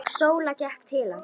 Sóla gekk til hans.